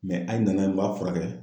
a ye na n'a ye , n b'a furakɛ.